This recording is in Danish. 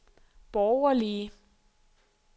borgerlige